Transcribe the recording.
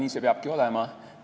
Nii see peabki olema.